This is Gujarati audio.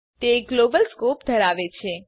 તે ગ્લોબલ સ્કોપ ધરાવે છે